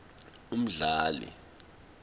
umdali